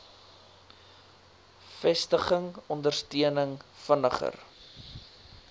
vestiging ondersteuning vinniger